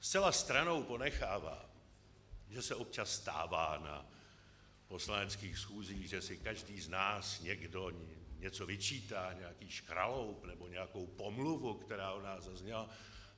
Zcela stranou ponechávám, že se občas stává na poslaneckých schůzích, že si každý z nás někdo něco vyčítá, nějaký škraloup nebo nějakou pomluvu, která od nás zazněla.